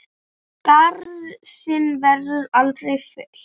Skarð þinn verður aldrei fyllt.